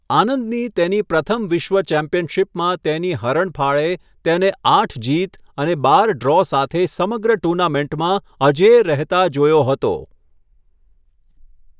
આનંદની તેની પ્રથમ વિશ્વ ચેમ્પિયનશિપમાં તેની હરણફાળે તેને આઠ જીત અને બાર ડ્રો સાથે સમગ્ર ટૂર્નામેન્ટમાં અજેય રહેતા જોયો હતો.